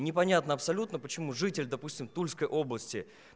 непонятно абсолютно почему житель допустим тульской области